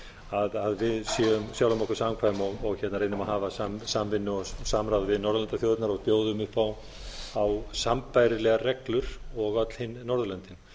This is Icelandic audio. að við séum sjálfum okkur samkvæm og reynum að hafa samvinnu og samráð við norðurlandaþjóðirnar og bjóðum upp á sambærilegar reglur og öll hin norðurlöndin